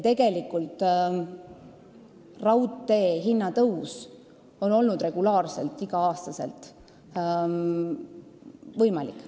Tegelikult on hinnatõus raudteel olnud regulaarselt, igal aastal võimalik.